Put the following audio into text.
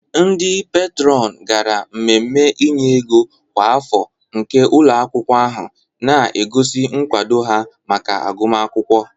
Ndị peetron gara mmemme inye ego kwa afọ nke ụlọ akwụkwọ ahụ, na-egosi nkwado ha maka agụmakwụkwọ.